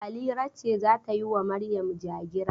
Halira ce za ta yi wa Maryam ja-gira.